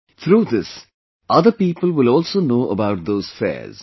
Through this other people will also know about those fairs